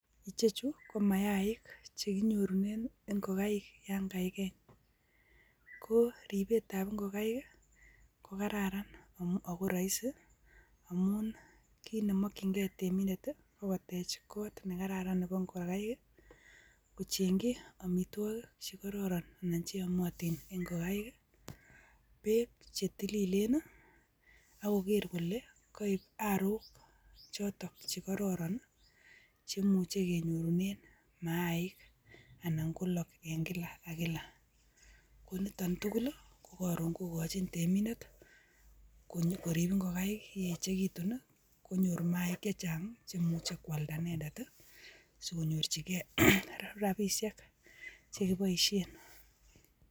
Icheju ko maiyaik chekinyorunen ingokai yon kaiken koo ribet tab ingokai koo kararan akoroisi amun kinemokinge teminde koo kotech kot nekararan nebo ingokai, kochengi omitwoki chekororon anan cheomotin ingokai ii beek chetililen ok koker kole koib arok choton chekororon cheimuje kenyorunen maik anan kolok en kila ok kila, koniton tukuli kokorun kokojin temindet korib inkokai ye echekitun ni konyor maik chejan chemuje kwalda inendet sikonyorji gee rabishek chekiboishen.